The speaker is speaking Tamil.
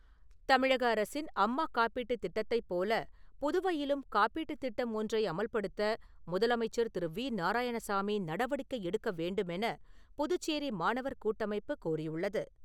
தமிழக அரசின் அம்மா காப்பீட்டுத் திட்டத்தைப் போல புதுவையிலும் காப்பீட்டுத் திட்டம் ஒன்றை அமல்படுத்த முதலமைச்சர் திரு. வி. நாராயணசாமி நடவடிக்கை எடுக்கவேண்டுமென புதுச்சேரி மாணவர் கூட்டமைப்பு கோரியுள்ளது.